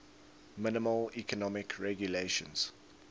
minimal economic regulations